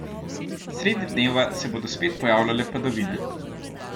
Sredi dneva se bodo spet pojavljale padavine.